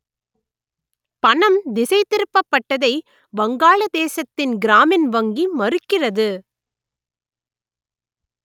பணம் திசை திருப்பப்பட்டதை வங்காளதேசத்தின் கிராமின் வங்கி மறுக்கிறது